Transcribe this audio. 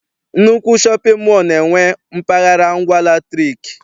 Nnukwu shọpịn mọọ na-enwe mpaghara ngwa latrik.